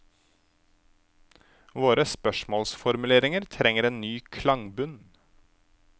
Våre spørsmålsformuleringer trenger en ny klangbunn.